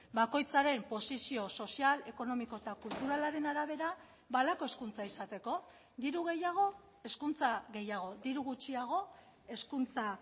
bakoitzaren posizio sozial ekonomiko eta kulturalaren arabera ba halako hezkuntza izateko diru gehiago hezkuntza gehiago diru gutxiago hezkuntza